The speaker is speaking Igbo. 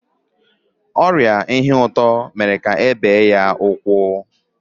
ọrịa shuga mere ka e bee ya ụkwụ.